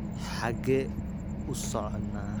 xagee u soconaa